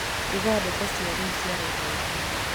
uga ndeto cia rīu cia raila odinga